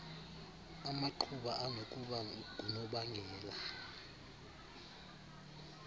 amaqhuba anokuba ngunobangela